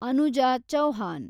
Anuja Chauhan